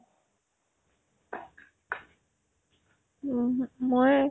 উমহু ময়ে